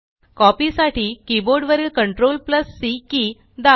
copy साठी keyboard वरील CTRLC key दाबा